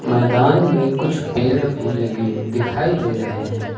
मैदान में कुछ पेड़ भी लगे दिखाई दे रहे हैं।